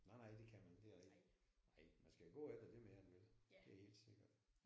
Nej nej det kan man ikke det er rigtigt. Nej man skal gå efter det man gerne vil det er helt sikkert